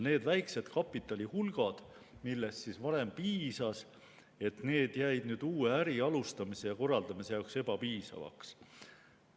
Need väikesed kapitalihulgad, millest varem piisas, jäid uue äri alustamise ja korraldamise jaoks ebapiisavaks.